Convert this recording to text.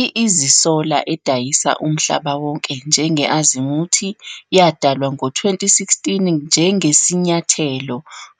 I-Easy Solar, edayisa umhlaba wonke njenge-Azimuth, yadalwa ngo-2016 njengesinyathelo